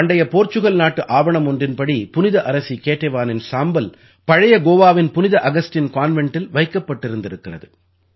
பண்டைய போர்ச்சுகல் நாட்டு ஆவணம் ஒன்றின்படி புனித அரசி கேடேவானின் சாம்பல் பழைய கோவாவின் புனித அகஸ்டின் கான்வெண்டில் வைக்கப்பட்டிருந்திருக்கிறது